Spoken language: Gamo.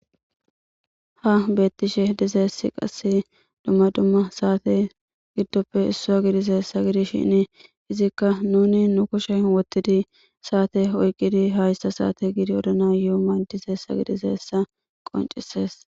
ha beettishe dizeessi qasse dumma dumma saate giddoppe issua gidizeessa gidishin izikka nuni nu kushe wottidi saate oyqqidi haysta saate gidi odana yuuman dizeessa gidizeessa qoncises